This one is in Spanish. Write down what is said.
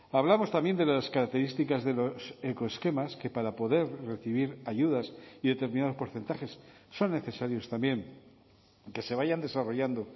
hablamos también de las características de los ecoesquemas que para poder recibir ayudas y determinados porcentajes son necesarios también que se vayan desarrollando